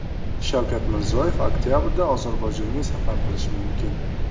Shavkat Mirziyoyev oktabrda Ozarbayjonga safar qilishi mumkin.